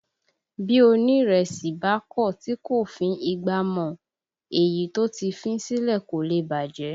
Bí onirese bá kọ tí kò fín ìgbà mọ, èyí tó ti fín sílẹ̀ kò lè bàjẹ́